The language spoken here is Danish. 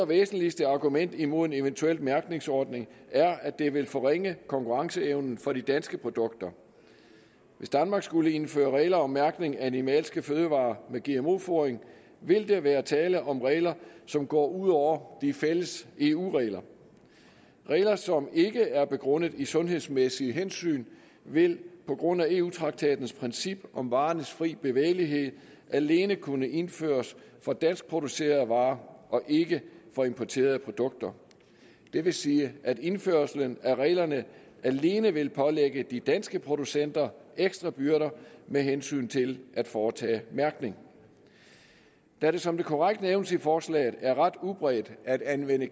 væsentligt argument imod en eventuel mærkningsordning at det vil forringe konkurrenceevnen for de danske produkter hvis danmark skulle indføre regler om mærkning af animalske fødevarer med gmo fodring vil der være tale om regler som går ud over de fælles eu regler regler som ikke er begrundet i sundhedsmæssige hensyn vil på grund af eu traktatens princip om varernes fri bevægelighed alene kunne indføres for danskproducerede varer og ikke for importerede produkter det vil sige at indførelsen af reglerne alene vil pålægge de danske producenter ekstra byrder med hensyn til at foretage mærkning da det som det korrekt nævnes i forslaget er ret udbredt at anvende